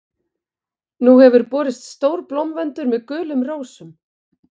Nú hefur borist stór blómvöndur með gulum rósum.